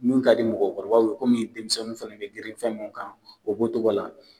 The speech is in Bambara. mun ka di mɔgɔkɔrɔbaw ye komi denmisɛnnin fana bɛ girin fɛn min kan o b'o cogo la